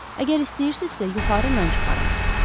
Əgər istəyirsinizsə, yuxarı mən çıxaram.